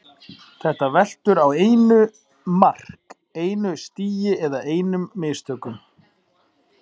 Þetta veltur á einu mark, einu stigi eða einum mistökum.